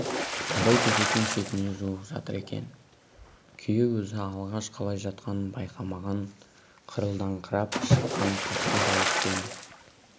абай төсектің шетіне жуық жатыр екен күйеу өзі алғаш қалай жатқанын байқамаған қырылдаңқырап шыққан қатқыл дауыспен